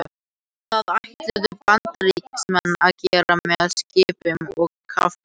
Það ætluðu Bandaríkjamenn að gera með skipum og kafbátum.